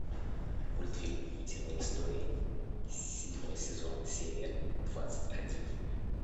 мультфильм утиные истории седьмой сезон серия двадцать один